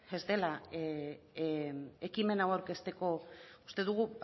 ez dela ekimen hau aurkezteko uste dugu